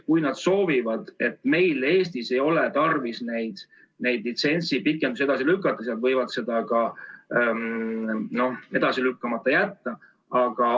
Kui nad arvavad, et meil Eestis ei ole tarvis neid litsentside pikendusi edasi lükata, siis nad võivad need ka edasi lükkamata jätta.